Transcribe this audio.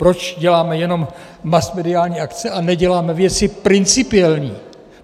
Proč děláme jenom masmediální akce, a neděláme věci principiální?